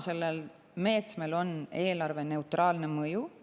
Sellel meetmel on eelarveneutraalne mõju.